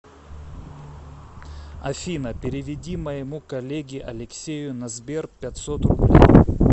афина переведи моему коллеге алексею на сбер пятьсот рублей